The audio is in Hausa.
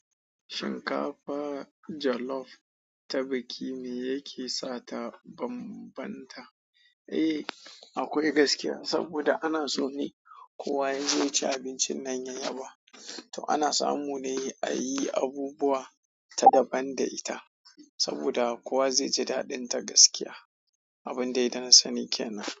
Shinkafa jollof ta biki me yakesa ta banbanta. Eh, akwai gaskiya saboda ana so ne kowa yazo yaci abincin nan ya yaba. To ana samu ne ayi abubuwa ta daban da ita saboda kowa zai ji daɗinta gaskiya. Abunda dai da na sani kenan.